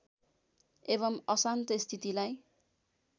एवम् अशान्त स्थितिलाई